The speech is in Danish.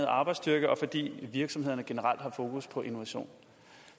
arbejdsstyrke og fordi virksomhederne generelt har fokus på innovation